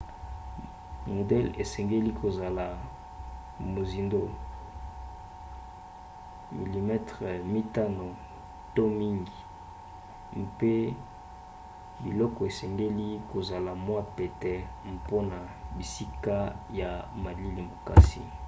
modele esengeli kozala mozindo 5 mm 1/5 inch to mingi mpe biloko esengeli kozala mwa pete mpona bisika ya malili makasi